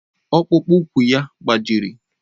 Ọkpụkpụ úkwù ya gbajiri